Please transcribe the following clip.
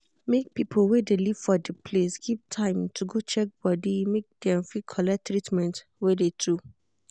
make people wey de live for de place keep time to go check body make dem fit collect treatment wey de to.